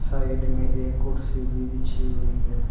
Side में एक कुर्सी भी बिछी हुई है।